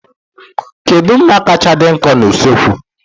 Kedu mma kacha dị nkọ na usekwu?